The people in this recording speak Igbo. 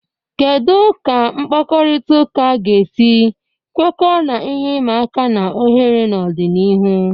Kedu ka mkpakọrịta ga-esi kwekọọ na ihe ịma aka na ohere n'ọdịnihu?